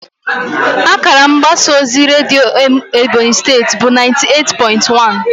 Akara mgbasa ozi redio Ebonyi State bụ naiti eight pointi wan